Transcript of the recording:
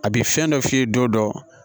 A bɛ fɛn dɔ f'i ye don dɔ